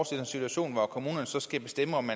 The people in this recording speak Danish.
sig en situation hvor kommunerne så skal bestemme om